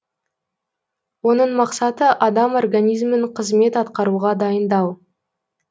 оның мақсаты адам организмін қызмет атқаруға дайындау